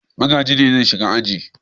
Magaji ne zai shiga aji.